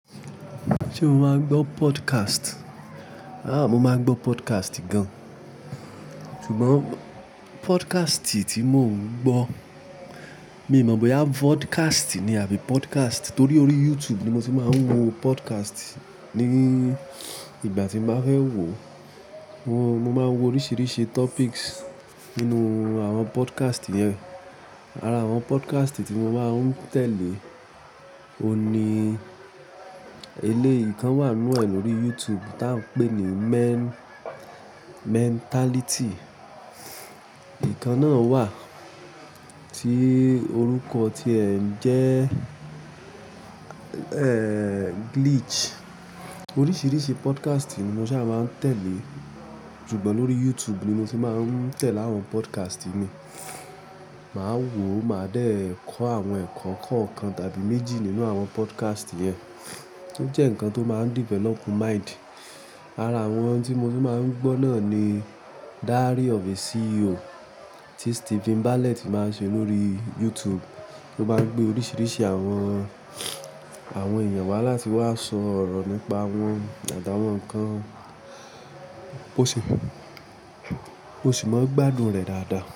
Ṣé o máa ń gbọ́ podcast? Aà, mo máa ń gbọ́ podcast gan. Ṣùgbọ́n podcast tí mo ń gbọ́, mi ò mọ bóyá vodcast ni àbí podcast torí orí YouTube ni mo ti máa ń wo podcast. Ni ìgbà tí mo bá fẹ́ wo, mo, mo máa ń wo oríṣiríṣi topics nínú àwọn podcast yẹn. Ara àwọn podcast tí mo máa ń tẹ̀lé òní, eléyìí kan wà nínú ẹ̀ lórí YouTube tá ń pè ní Men-- Mentality. Ìkan náà wà tí orúkọ ti ẹ jẹ́, ẹ́ẹ́, Glitch. Oríṣiríṣi podcast ni mo ṣá máa ń tẹ̀lé. Ṣùgbọ́n lórí YouTube ni mo ti máa ń tẹ̀lé àwọn podcast mi. Máa wò, máa dẹ̀ kọ́ àwọn ẹ̀kọ́ kọ̀ọ̀kan tàbí méjì nínú àwọn podcast yẹn, ó jẹ́ nǹkan tó máa ń develop mind. Ara àwọn tí mo ti máa ń gbọ́ náà ni Diary of a CEO tí Steven Bartlett máa ń ṣe lórí YouTube. Ó máa ń gbé oríṣiríṣi àwọn, àwọn èèyàn wá láti wá sọ ọ̀rọ̀ nípa wọn àtàwọn nǹkan. Ó sì maa ó sì máa ń gbádùn rẹ̀ dáadáa.